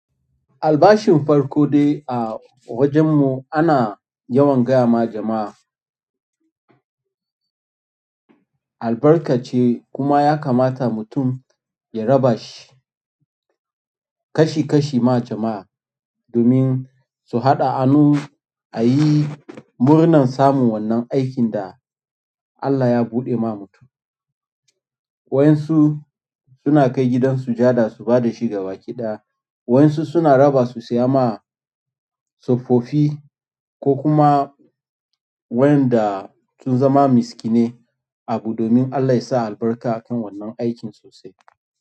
Albashin farko dai a wajen mu ana yawan gaya ma jama'a albarka ce kuma ya kamata mutum ya raba shi kashi kashi ma jama'a domin su haɗa hannu a yi murnar samun wannan aikin da Allah ya buɗe ma mutum. Waɗansu suna kai gidan sujada su ba da shi gaba ki ɗaya, wayansu suna raba su saya ma tsofaffi ko kuma wayanda sun zama miski nai abu domin Allah yasa albarka a kan wannan aikin sosai.